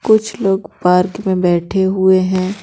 कुछ लोग पार्क में बैठे हुए हैं।